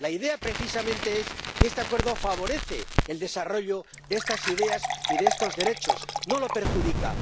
La idea, precisamente, es que este Acuerdo favorece el desarrollo de estas ideas y de estos derechos, no los perjudica.